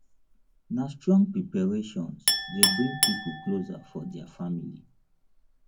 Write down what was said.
na strong preparations dey bring pipo closer for dia family